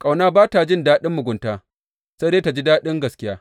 Ƙauna ba ta jin daɗin mugunta, sai dai ta ji daɗin gaskiya.